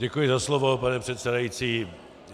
Děkuji za slovo, pane předsedající.